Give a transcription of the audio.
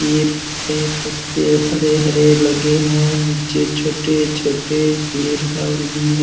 पेड़ पे पत्ते हरे-हरे लगे हैं नीचे छोटे-छोटे पेड़ ह और भी है।